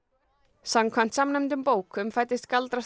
samkvæmt samnefndum bókum fæddist